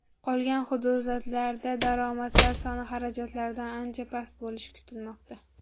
Qolgan hududlarda daromadlar soni xarajatlardan ancha past bo‘lishi kutilmoqda.